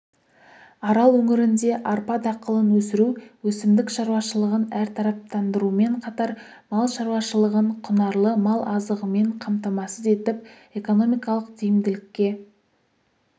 арал өңірінде арпа дақылын өсіру өсімдік шаруашылығын әртараптандырумен қатар мал шаруашылығын құнарлы мал азығымен қамтамасыз етіп экономикалық тиімділікке